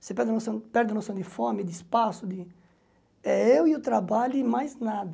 Você perde a noção perde a noção de fome, de espaço, de... É eu e o trabalho e mais nada.